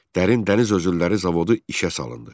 Dərin dəniz özülləri zavodu işə salındı.